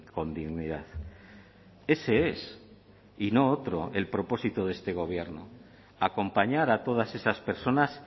con dignidad ese es y no otro el propósito de este gobierno acompañar a todas esas personas